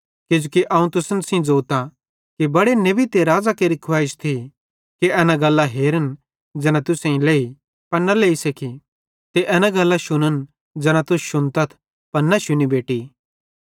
किजोकि अवं तुसन सेइं ज़ोतां कि बड़े नेबन ते राज़ां केरि खुवैइश थी कि एना गल्लां हेरन ज़ैना तुसेईं लेई पन न लेई सके ते एना गल्लां शुन्न ज़ैना तुस शुन्तथ पन न शुनी बेटि